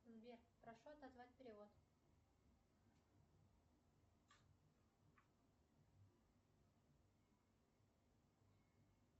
сбер прошу отозвать перевод